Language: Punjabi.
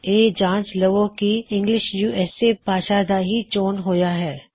ਇਹ ਜਾਂਚ ਲਵੋ ਕੀ ਇੰਗਲਿਸ਼ ਯੂਐਸਏ ਭਾਸ਼ਾ ਦਾ ਹੀ ਚੋਣ ਹੋਇਆ ਹੈ